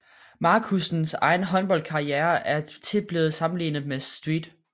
Markussens egen håndboldkarriere er tit blevet sammenlignet med St